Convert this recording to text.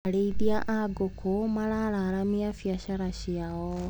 Arĩithia a ngũkũ maraaramia mbiacara ciao.